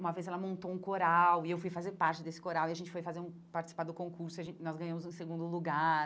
Uma vez ela montou um coral e eu fui fazer parte desse coral e a gente foi fazer um participar do concurso e a gen nós ganhamos no segundo lugar.